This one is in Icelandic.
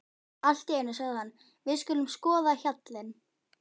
Allt í einu sagði hann: Við skulum skoða hjallinn.